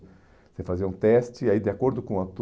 Você fazia um teste, aí de acordo com a